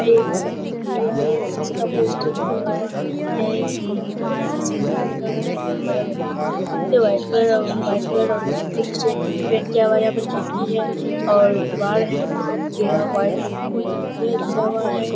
यह एक है इसका पोस्टर भी लगा हुआ है। यह एक वाइट कलर वाइट कलर और से पेंट किया हुआ है और यहाँ पर खिड़की है और दिवार है घिरा हुआ है।